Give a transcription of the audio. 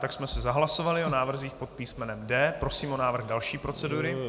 Tak jsme si zahlasovali o návrzích pod písmenem D. Prosím o návrh další procedury.